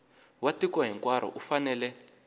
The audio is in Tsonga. wa tiko hinkwaro u fanele